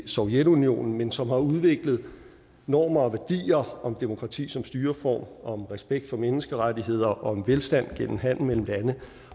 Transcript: sovjetunionen men som har udviklet normer og værdier om demokrati som styreform om respekt for menneskerettigheder om velstand gennem handel mellem lande